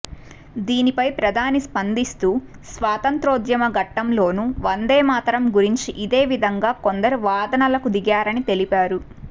దీనిపై ప్రధాని స్పందిస్తూ స్వాతంత్య్రోద్యమ ఘట్టంలోనూ వందేమాతరం గురించి ఇదే విధంగా కొందరు వాదనలకు దిగారని తెలిపారు